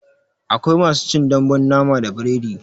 Akwai masu cin dambun nama da biredi